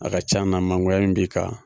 A ka can na mangoya min b'i kan.